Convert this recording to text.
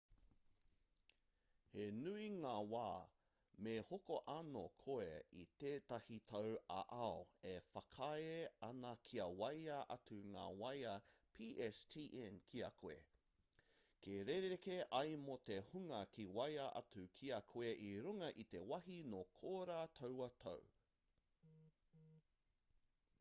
he nui ngā wā me hoko anō koe i tētahi tau ā-ao e whakaae ana kia waea atu ngā waea pstn ki a koe ka rerekē ai mō te hunga ka waea atu ki a koe i runga i te wāhi nō korā taua tau